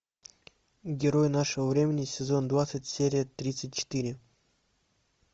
герой нашего времени сезон двадцать серия тридцать четыре